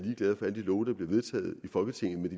er de love der bliver vedtaget i folketinget men